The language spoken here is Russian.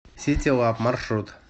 ситилаб маршрут